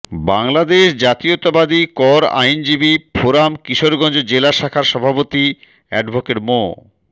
বাংলাদেশ জাতীয়তাবাদী কর আইনজীবী ফোরাম কিশোরগঞ্জ জেলা শাখার সভাপতি অ্যাডভোকেট মো